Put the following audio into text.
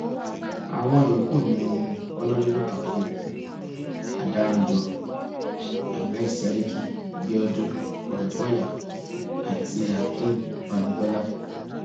àwọn yòókù ni honorébù taofeek adárànjọ ahmed seriki biodun ọrẹkọyà àti akeem bamgbọlá